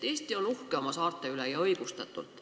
Eesti on uhke oma saarte üle ja õigustatult.